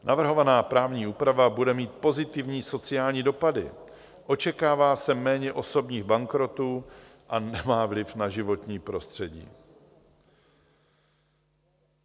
Navrhovaná právní úprava bude mít pozitivní sociální dopady - očekává se méně osobních bankrotů - a nemá vliv na životní prostředí.